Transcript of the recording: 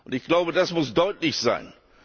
Ich glaube, das muss deutlich sein.